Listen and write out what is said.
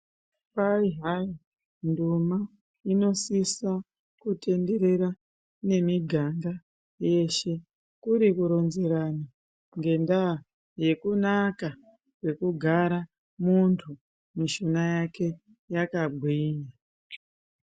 Kwaihaiyi ndoma inosisa kutenderera nemiganga yeshe ,kurikuronzerana ngenda yekunaka kwekugara muntu mushuna yake yakagwinya.